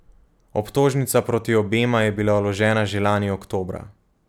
Obtožnica proti obema je bila vložena že lani oktobra.